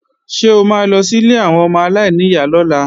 Ṣé o ma lọ sí ilé àwọn ọmọ aláìníyá lọ́la?